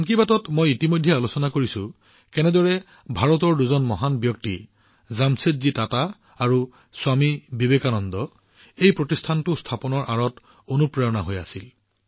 মন কী বাতত মই আগতে আলোচনা কৰিছো যে কেনেকৈ ভাৰতৰ দুই মহান ব্যক্তিত্ব জামছেদজী টাটা আৰু স্বামী বিবেকানন্দ এই প্ৰতিষ্ঠানটো স্থাপনৰ আঁৰত অনুপ্ৰেৰণা হৈ আহিছে